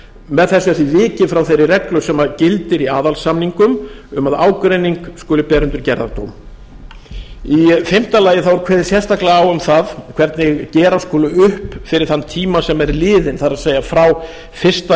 með þessu er því vikið frá þeirri reglu sem gildi í aðalsamningum um að ágreining skuli bera undir gerðardóm í fimmta lagi er kveðið sérstaklega á um það hvernig gera skuli upp fyrir þann tíma sem er liðinn það er frá fyrsta